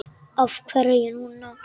Af hverju núna?